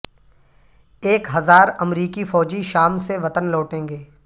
ایک ہزار امریکی فوجی شام سے وطن لوٹیں گے